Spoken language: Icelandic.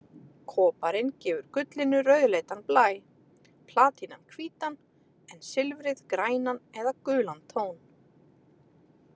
Koparinn gefur gullinu rauðleitan blæ, platínan hvítan en silfrið grænan eða gulan tón.